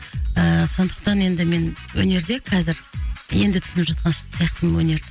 ыыы сондықтан енді мен өнерде қазір енді түсініп жатқан сияқтымын өнерді